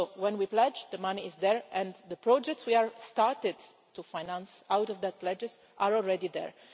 So when we pledge, the money is there and the projects we have started to finance out of those pledges are already there.